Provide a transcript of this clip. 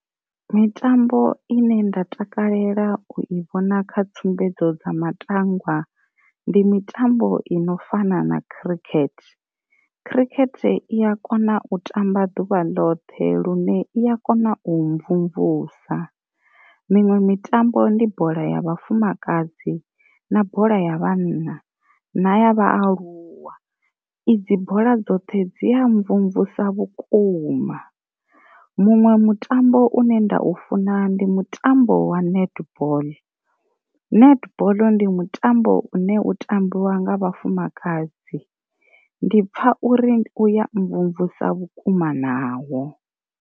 Mitambo ine nda takalela u i vhona kha tsumbedzo dza matangwa ndi mitambo ino fana na khirikhethe, khirikhethe i ya kona u tamba ḓuvha ḽoṱhe lune i ya kona u mvumvusa, miṅwe mitambo ndi bola ya vhafumakadzi, na bola ya vhanna na ya vhaaluwa, i dzi bola dzoṱhe dzi a mvumvusa vhukuma. Muṅwe mutambo une nda u funa ndi mutambo wa netball, netball ndi mutambo u ne u tambiwa nga vhafumakadzi ndi pfha uri uya mvumvusa vhukuma nawo.